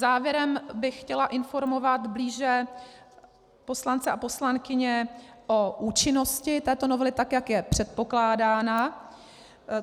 Závěrem bych chtěla informovat blíže poslance a poslankyně o účinnosti této novely, tak jak je předpokládána.